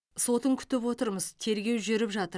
сотын күтіп отырмыз тергеу жүріп жатыр